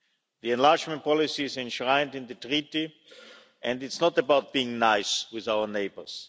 The enlargement policy is enshrined in the Treaty, and it's not about being nice with our neighbours